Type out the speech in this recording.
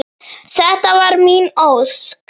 . þetta var mín ósk.